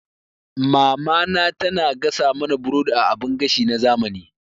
Mamana tana gasa mana burodi a abin gashi na zamani.